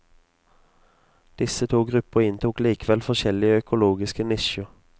Disse to grupper inntok likevel forskjellige økologiske nisjer.